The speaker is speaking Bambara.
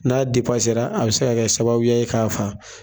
N'a a bɛ se ka kɛ sababuya ye k'a faga.